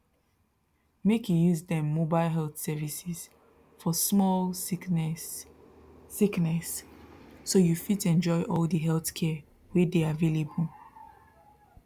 make you use dem mobile health services for small sickness sickness so you fit enjoy all the healthcare wey dey available